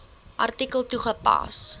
artikel toegepas